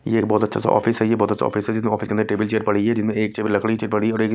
ये एक बहोत अच्छा सा ऑफिस है ये बहोत अच्छा ऑफिस है जिस ऑफिस के अंदर टेबल चेयर पड़ी है जिनमें एक चेबल लकड़ी चे पड़ी और एक--